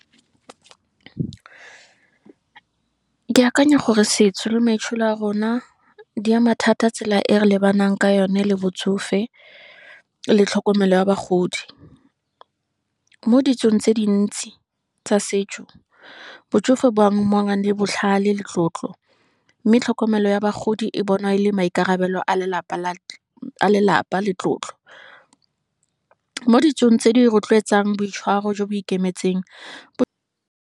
Ke akanya gore setso le maitsholo a rona, di ama thata tsela e re lebanang ka yone le botsofe, le tlhokomelo ya bagodi. Mo ditsong tse dintsi, tsa setso, botsofe bo amangwa le botlhale le tlotlo, mme tlhokomelo ya bagodi e bonwa e le maikarabelo a lelapa le tlotlo. Mo ditsong tse di rotloetsang boitshwaro jo bo ikemetseng.